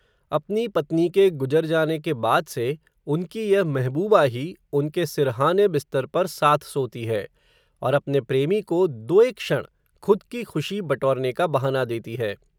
अपनी पत्नी के गुजर जाने के बाद से, उनकी यह महबूबा ही, उनके सिरहाने बिस्तर पर, साथ सोती है, और अपने प्रेमी को दो एक क्षण, खुद की खुशी, बटोरने का बहाना देती है